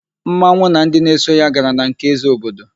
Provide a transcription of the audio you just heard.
Mmanwụ na ndị na-eso ya gara na nke ézē obodo.